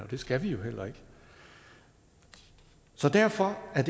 og det skal vi jo heller ikke så derfor er